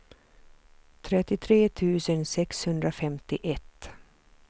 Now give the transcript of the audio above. trettiotre tusen sexhundrafemtioett